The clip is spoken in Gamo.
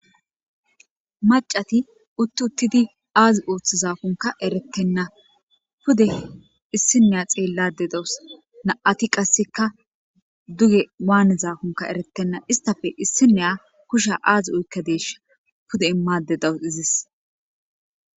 Maccati utti uttidi aazi ooththizaakonka erettenna pude issiniya xeellade dawus na'ati qasseka duge waanizakonka erettenna istafe issiniya kusha aazi oykkadeesha pude immade dawus izis.